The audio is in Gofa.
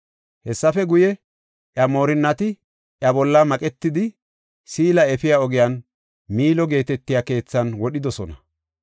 Hessafe guye, iya moorinnati iya bolla maqetidi, Siila efiya ogiyan Miilo geetetiya keethan wodhidosona.